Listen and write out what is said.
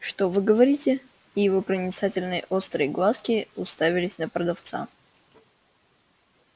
что вы говорите и его проницательные острые глазки уставились на продавца